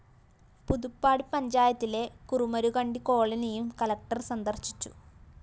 പുതുപ്പാടി പഞ്ചായത്തിലെ കുറുമരുകണ്ടി കോളനിയും കളക്ടർ സന്ദര്‍ശിച്ചു